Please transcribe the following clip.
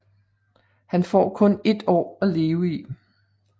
Han får kun ét år at leve i